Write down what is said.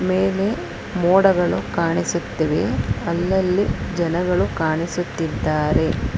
ಮೇಲೆ ಮೋಡಗಳು ಕಾಣಿಸುತ್ತಿವೆ ಅಲ್ಲಲ್ಲಿ ಜನಗಳು ಕಾಣಿಸುತ್ತಿದ್ದಾರೆ.